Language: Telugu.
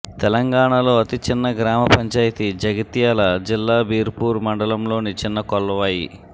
తెలంగాణలో అతి చిన్న గ్రామ పంచాయతీ జగిత్యాల జిల్లా బీర్పూర్ మండలంలోని చిన్న కొల్వాయి